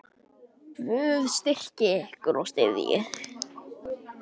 Guð styrki ykkur og styðji.